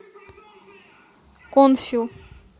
конфил